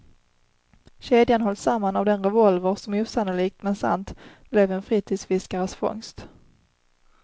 Kedjan hålls samman av den revolver som osannolikt men sant blev en fritidsfiskares fångst.